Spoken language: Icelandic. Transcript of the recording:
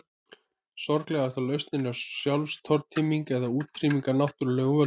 Sorglegasta lausnin er sjálfstortíming eða útrýming af náttúrulegum völdum.